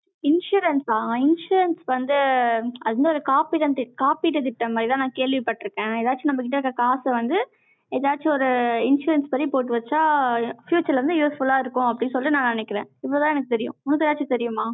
insurance ஆ? insurance வந்து, அது வந்து, ஒரு காப்பீடு காப்பீடு திட்டம் மாதிரிதான், நான் கேள்விப்பட்டிருக்கேன். எதாச்சு நம்ம கிட்ட இருக்க காசை வந்து, ஏதாச்சும் ஒரு insurance படி போட்டு வச்சா, future வந்து useful ஆ இருக்கும், அப்படீன்னு சொல்லிட்டு நான் நினைக்கிறேன். இப்பதான் எனக்கு தெரியும். உனக்கு ஏதாச்சும் தெரியுமா?